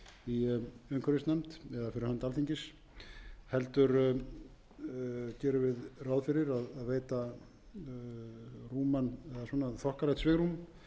í umhverfisnefnd eða fyrir hönd alþingis heldur gerum við ráð fyrir að veita rúman eða þokkalegt svigrúm